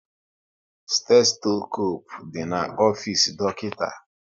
Stetoskope dị na ofisi dọkịta